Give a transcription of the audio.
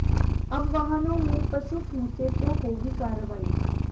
अब वाहनों में पशु ठूंसे तो होगी कार्रवाई